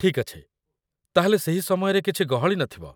ଠିକ୍ ଅଛି, ତା'ହେଲେ ସେହି ସମୟରେ କିଛି ଗହଳି ନଥିବ?